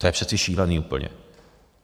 To je přece šílený úplně.